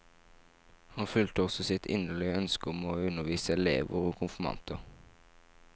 Han fulgte også sitt inderlige ønske om å undervise elever og konfirmanter.